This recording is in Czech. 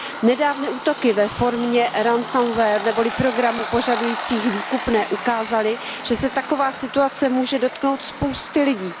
Nedávné útoky ve formě neboli programů požadujících výkupné, ukázaly, že se taková situace může dotknout spousty lidí.